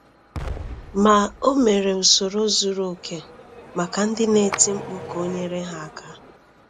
Ma o mere usoro zuru oke maka ndị na-eti mkpu ka o nyere ha aka.